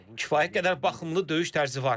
Kifayət qədər baxımlı döyüş tərzi var.